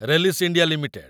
Rallis India limited